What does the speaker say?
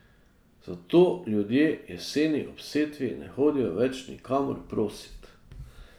Zato ljudje jeseni ob setvi ne hodijo radi nikamor prosit.